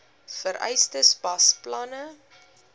vereistes pas planne